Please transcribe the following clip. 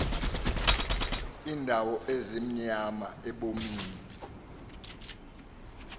iindawo ezimnyama ebomini